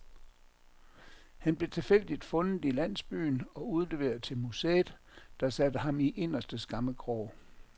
Han blev tilfældigt fundet i landsbyen og udleveret til museet, der satte ham i inderste skammekrog.